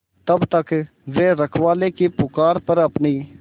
तब तक वे रखवाले की पुकार पर अपनी